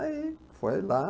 Aí, foi lá.